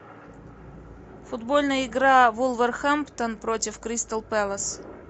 футбольная игра вулверхэмптон против кристал пэлас